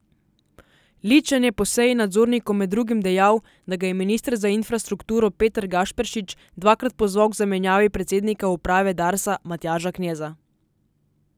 Ličen je po seji nadzornikov med drugim dejal, da ga je minister za infrastrukturo Peter Gašperšič dvakrat pozval k zamenjavi predsednika uprave Darsa Matjaža Kneza.